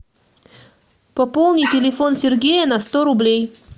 пополни телефон сергея на сто рублей